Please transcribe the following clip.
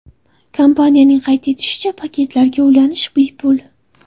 Kompaniyaning qayd etishicha, paketlarga ulanish bepul.